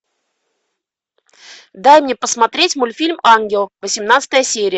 дай мне посмотреть мультфильм ангел восемнадцатая серия